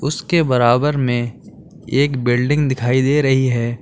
उसके बराबर में एक बिल्डिंग दिखाई दे रही है।